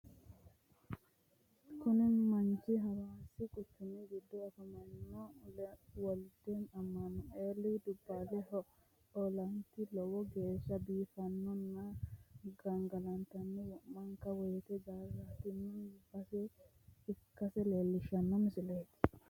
Kuni baayiichu hawaassi quchumi giddo afamanno wolde amaanueeli dubbaalihu ollaati lowo geeshsha biiffannona gangalataho wo'manka woyte doorantino base ikkase leellishanno misileeti.